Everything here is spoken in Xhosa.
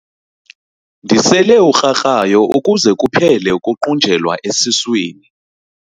Ndisele ukrakrayo ukuze kuphele ukuqunjelwa esiswini.